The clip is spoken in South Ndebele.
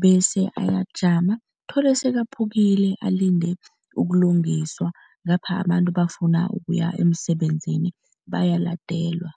bese ayajama, uthole sekaphukile alinde ukulungiswa ngapha abantu bafuna ukuya emsebenzini, bayaladelwa.